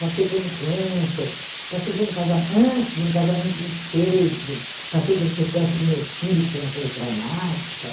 Passei por um câncer, passei por um casa antes por um casamento desfeito, passei pelo sequestro do meu filho, que foi uma coisa traumática.